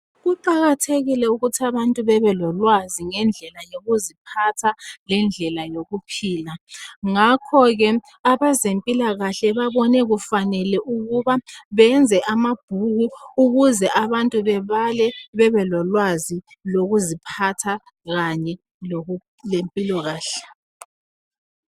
Kuqakathekile ukuthi abantu bebelolwazi ngendlela yokuziphatha lendlela yokuphila ngakho ke abezempilakahle babone kufanele ukuba beyenze amabhuku ukuze abantu bebale bebelolwazi lokuziphatha kanye lempilakahle